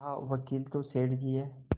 कहावकील तो सेठ जी हैं